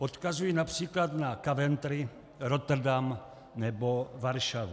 Odkazuji například na Coventry, Rotterdam nebo Varšavu.